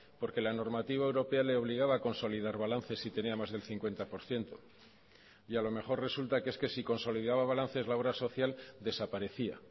porque la normativa europea le obligaba a consolidar balances si tenía más del cincuenta por ciento y a lo mejor resulta que es que si consolidaba balances la obra social desaparecía